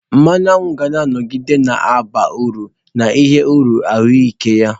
Mmanụ aṅụ ga-anọgide na-aba uru n'ihi uru ahụike ya.